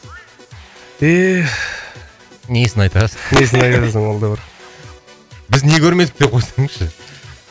несін айтасың несін айтасың ол да бір біз не көрмедік деп қойсаңызшы